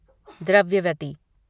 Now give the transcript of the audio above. Dravyavati